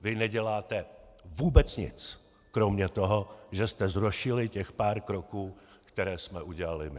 Vy neděláte vůbec nic kromě toho, že jste zrušili těch pár kroků, které jsme udělali my!